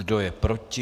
Kdo je proti?